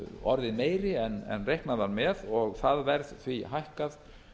orðið meiri en reiknað var með og það verð því hækkað